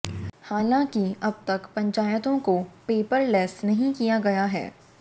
हालांकि अब तक पंचायतों को पेपरलैस नहीं किया गया है